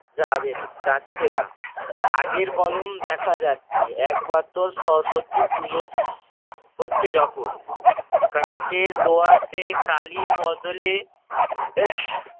যাবে যাচ্ছে না। খাগের কলম দেখা যাচ্ছে একমাত্র সরস্বতী পুজো~ হচ্ছে যখন। কাঠের দোয়াদে কালির বদলে